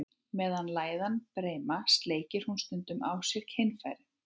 Meðan læðan er breima, sleikir hún stundum á sér kynfærin.